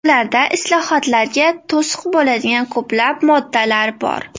Ularda islohotlarga to‘siq bo‘ladigan ko‘plab moddalar bor.